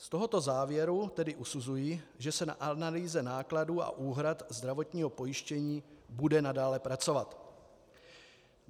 Z tohoto závěru tedy usuzuji, že se na analýze nákladů a úhrad zdravotního pojištění bude nadále pracovat.